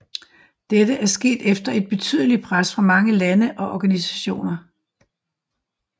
Dette er sket efter et betydeligt pres fra mange lande og organisationer